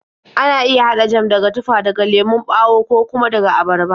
Ana iya haɗa jam daga tufa, daga lemon ɓawo, ko kuma daga abarba.